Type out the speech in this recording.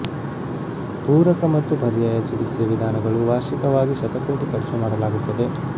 ಪೂರಕ ಮತ್ತು ಪರ್ಯಾಯ ಚಿಕಿತ್ಸೆ ವಿಧಾನಗಳು ವಾರ್ಷಿಕವಾಗಿ ಶತಕೋಟಿ ಖರ್ಚು ಮಾಡಲಾಗುತ್ತದೆ